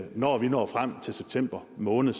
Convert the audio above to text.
når vi når frem til september måned